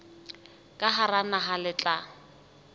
ka hara naha le tla